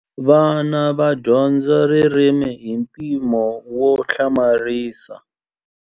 Vana va dyondza ririmi hi mpimo wo hlamarisa.